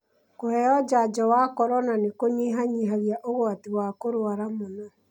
Kũheo njajo wa corona nĩ kũnyihanyihia ũgwati wa kũrũara mũno